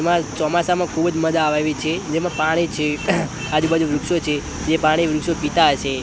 એમાં ચોમાસામાં ખૂબ જ મજા આવે એવી છે જેમાં પાણી છે આજુ બાજુ વૃક્ષો છે જે પાણી વૃક્ષો પીતા હશે.